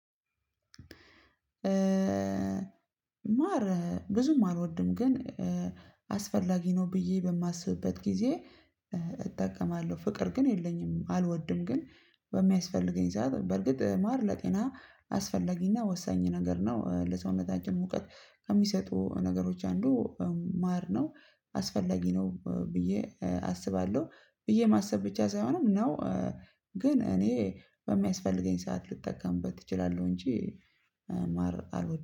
ማር ብዙም አልወድም ግን አስፈላጊ ነው ብዬ በማስብበት ጊዜ እጠቀማለሁ። ፍቅር ግን የለኝም አልወደም። ግን በሚያስፈልገኝ ሰዓት በእርግጥ ማር ለጤና አስፈላጊ እና ወሳኝ ነገር ነው። ለሰዉነታችን ሙቀት ከሚሰጡ ነገሮች አንዱ ማር ነው። አስፈላጊ ነው ብዬ አስባለው ብዬ ማሰብ ብቻ ሳይሆን ነው። ግን እኔ በሚያስፈልገኝ ሰዓት ልጠቀምበት እችላለው። እንጂ ማር አልወድም